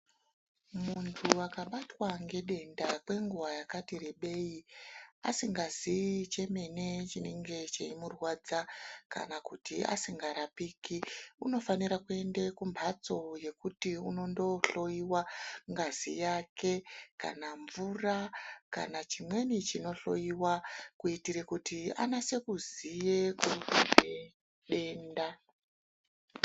Muntu akabatwa ngedenda kwenguwa yakati rebei asingaziyi chemene chinenge cheimurwadza kana kuti asingarapiki unofanira kuende kumphatso yekuti unondohloyiwa ngazi yake kana mvura kana chimweni chinohloyiwa kuitira kuti anasoziye kuri kubve denda.